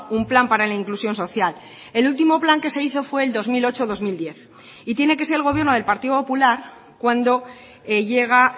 un plan para la inclusión social el último plan que se hizo fue el dos mil ocho dos mil diez y tiene que ser el gobierno del partido popular cuando llega